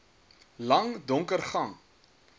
lang donker gang